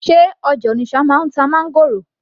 sé ọjà Onitsha náà ń ta máńgòrò